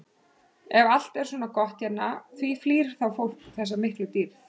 Ef allt er svona gott hérna, því flýr þá fólk þessa miklu dýrð?